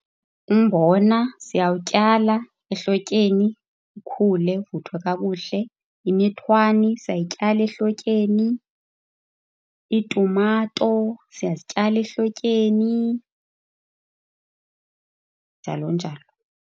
Umbona siyawutyala ehlotyeni ukhule, uvuthwe kakuhle. Imithwani siyayityala ehlotyeni, iitumato siyazityala ehlotyeni, njalo njalo.